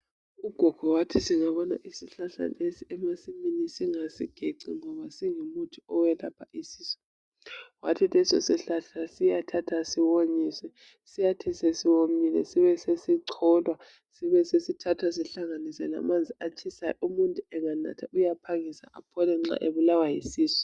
Ugogo wathi singabona isihlahla lesi emasimini singasigeci ngoba singumuthi owelapha isisu. Wathi leso sihlahla siyathathwa siwonyiswe siyathi sesiwomile sibesesicolwa sibe sesithatha sihlanganise lamanzi atshisayo umuntu enganatha uyaphangisa aphole nxa ebulawa yisisu.